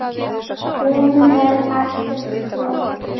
Hún var alltaf flott.